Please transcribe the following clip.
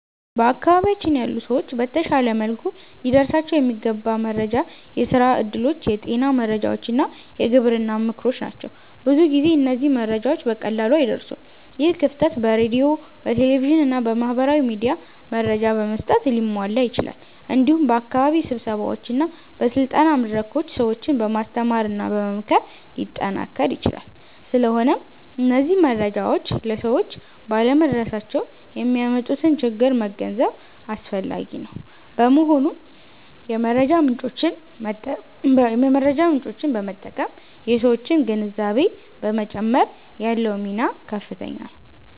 በአካባቢያችን ያሉ ሰዎች በተሻለ መልኩ ሊደርሳቸው የሚገባ መረጃ የስራ እድሎች፣ የጤና መረጃዎች እና የግብርና ምክሮች ናቸው። ብዙ ጊዜ እነዚህ መረጃዎች በቀላሉ አይደርሱም። ይህ ክፍተት በሬዲዮ፣ በቴሌቪዥን እና በማህበራዊ ሚዲያ መረጃ በመስጠት ሊሟላ ይችላል። እንዲሁም በአካባቢ ስብሰባዎች እና በስልጠና መድረኮች ሰዎችን በማስተማርና በመምከር ሊጠናከር ይችላል። ስለሆነም እነዚህ መረጃዎች ለሰዎች ባለመድረሳቸው የሚያመጡትን ችግር መገንዘብ አስፈላጊ ነው። በመሆኑም የመረጃ ምጮችን በመጠቀም የሠዎችን ግንዛቤ በመጨመር ያለው ሚና ከፍተኛ ነው።